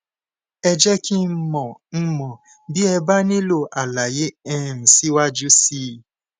ẹ jé kí n mò n mò bí ẹ bá nílò àlàyé um síwájú sí i